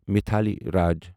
Mithali Raj